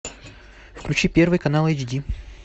включи первый канал эйч ди